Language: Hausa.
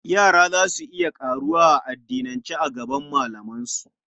Yara za su iya ƙaruwa a addinance daga malamansu.